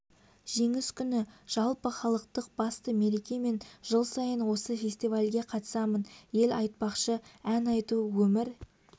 жеңіс күні жалпыхалықтық басты мереке мен жыл сайын осы фестивальге қатысамын ел айтпақшы ән айту өмір